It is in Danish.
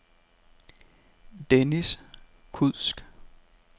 Denis Kudsk